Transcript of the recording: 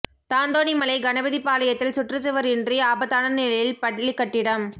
தாந்தோணிமலை கணபதிபாளையத்தில் சுற்று சுவர் இன்றி ஆபத்தான நிலையில் பள்ளி கட்டிடம்